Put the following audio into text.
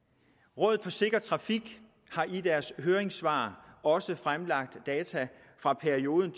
rådet for sikker trafik har i deres høringssvar også fremlagt data fra perioden